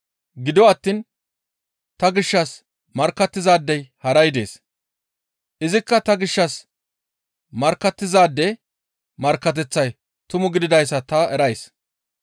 Gido attiin ta gishshas markkattizaadey haray dees; izikka ta gishshas markkattizaade markkateththay tumu gididayssa ta erays.